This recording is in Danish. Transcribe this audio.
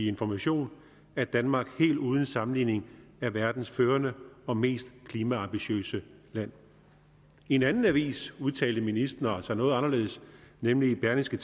information at danmark helt uden sammenligning er verdens førende og mest klimaambitiøse land i en anden avis udtalte ministeren sig noget anderledes nemlig i berlingske